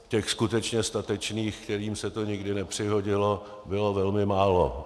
Těch skutečně statečných, kterým se to nikdy nepřihodilo, bylo velmi málo.